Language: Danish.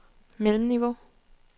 mellemniveau